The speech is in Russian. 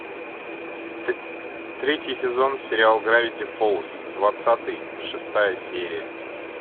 третий сезон сериал гравити фолз двадцатый шестая серия